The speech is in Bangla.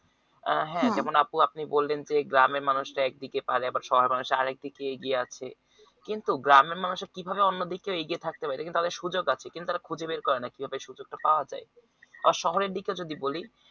আহ হ্যাঁ যেমন আপু আপনি বললেন যে গ্রামের মানুষরা একদিকে পারে আবার শহরের মানুষরা আরেকদিকে এগিয়ে আসে কিন্তু গ্রামের মানুষরা কিভাবে অন্যদিকে এগিয়ে থাকতে তাদের পারে সুযোগ আছে কিন্তু ওরা খুঁজে বের করে না কিভাবে সুযোগটা পাওয়া যায় আর শহরের দিকে যদি বলি